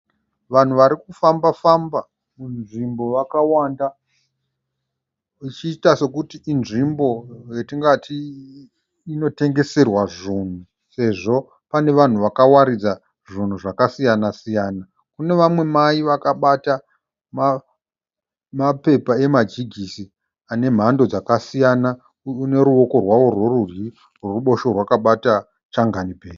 Vanhu varikufamba famba munzvimbo vakawanda ichiita sekuti inzvimbo yatingati inotengeserwa zvinhu sezvo pane vanhu vakawaridza zvinhu zvakasiyana siyana. Kune vamwe Mai vakabata mapepa emajigisi anemhando dzakasiyana neruwoko rwavo rwerudyi rwekuruboshwe rwakabata changanibhegi